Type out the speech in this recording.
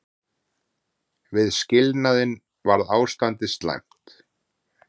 Við skilnaðinn var ástandið slæmt.